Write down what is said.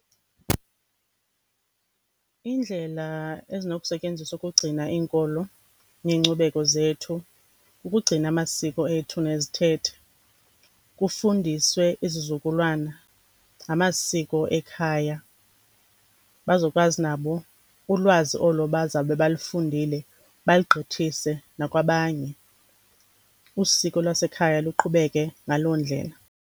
Indlela ezinokusetyenziswa ukugcina iinkolo neenkcubeko zethu kukugcina amasiko ethu nezithethe, kufundiswe izizukulwana ngamasiko ekhaya, bazokwazi nabo ulwazi olo bazawube balufundile balugqithise nakwabanye, usiko lwasekhaya luqhubeke ngaloo ndlela.